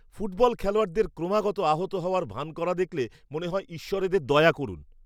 Football খেলোয়াড়দের ক্রমাগত আহত হওয়ার ভান করা দেখলে মনে হয় ঈশ্বর এদের দয়া করুন!